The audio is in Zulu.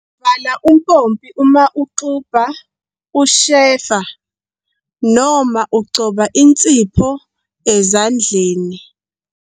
Vala umpompi uma uxubha, ushefa noma ugcoba insipho ezandleni.